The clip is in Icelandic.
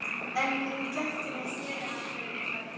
En í gættinni sneri hann við og sagði